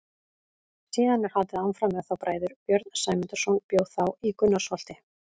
Síðan er haldið áfram með þá bræður: Björn Sæmundarson bjó þá í Gunnarsholti.